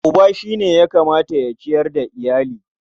Uba shi ya kamata ya ciyar da iyali.